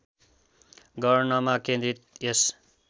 गर्नमा केन्द्रित यस